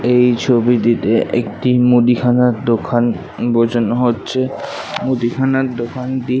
এই ছবিটিতেএকটি মুদিখানার দোকান বোঝানো হচ্ছে মুদিখানার দোকানটি।